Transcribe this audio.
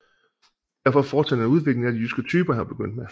Derfor fortsatte han udviklingen af de jyske typer han var begyndt med